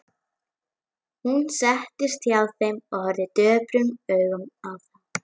Hún settist hjá þeim og horfði döprum augum á þá.